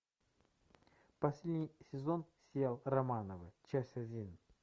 последний сезон сериал романовы часть один